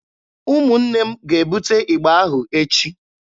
Ụmụnne m ga-ebute ịgba ahụ echi.